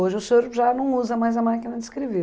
Hoje o senhor já não usa mais a máquina de escrever.